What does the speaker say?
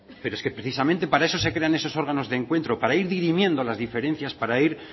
pero es que precisamente para eso se crean esos órganos de encuentro para ir dirimiendo las diferencias para ir